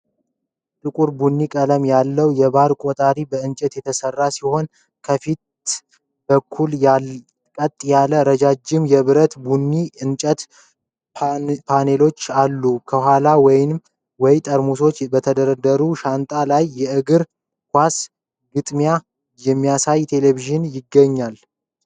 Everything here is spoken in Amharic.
ጥቁር ቡኒ ቀለም ያለው የባር ቆጣሪ በእንጨት የተሠራ ሲሆን ከፊት በኩል ቀጥ ያሉ ረዣዥም የብርሃን ቡኒ የእንጨት ፓነሎች አሉት። ከኋላው ወይን ጠርሙሶች በተደረደሩበት ሻንጣ ላይ የእግር ኳስ ግጥሚያ የሚያሳይ ቴሌቪዥን ይገኛል።